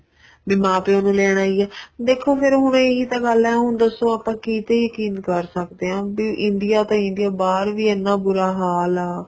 ਵੀ ਮਾਂ ਪਿਉ ਨੂੰ ਲੈਣ ਆਈ ਏ ਦੇਖੋ ਫ਼ੇਰ ਹੁਣ ਏ ਹੀ ਤਾਂ ਗੱਲ ਏ ਹੁਣ ਦੱਸੋ ਆਪਾਂ ਕਿਤੇ ਯਕੀਨ ਕਰ ਸਕਦੇ ਹਾਂ ਵੀ India ਤਾਂ India ਬਹਾਰ ਵੀ ਐਨਾ ਬੂਰਾ ਹਾਲ ਆ